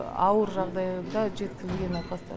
ауыр жағдайда жеткізілген науқастар